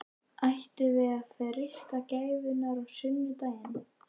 Ættum við að freista gæfunnar á sunnudaginn?